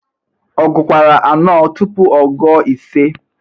Ọ gukwara anọ tụpụ ọ gụo ise?